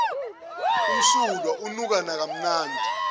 umsulwa unuka nakamnandi